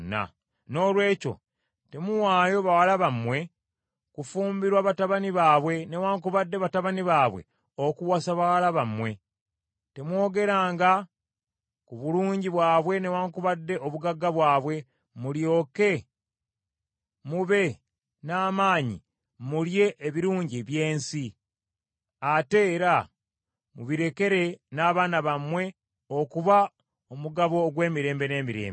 Noolwekyo temuwaayo bawala bammwe kufumbirwa batabani baabwe newaakubadde batabani bammwe okuwasa bawala baabwe. Temwongeranga ku bulungi bwabwe newaakubadde obugagga bwabwe, mulyoke mube n’amaanyi mulye ebirungi by’ensi, ate era mubirekere n’abaana bammwe okuba omugabo ogw’emirembe n’emirembe.’